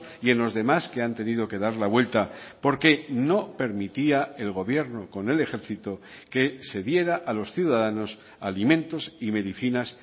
y en los demás que han tenido que dar la vuelta porque no permitía el gobierno con el ejercito que se diera a los ciudadanos alimentos y medicinas